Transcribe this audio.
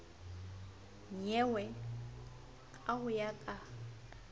nyewe ka ho ya ka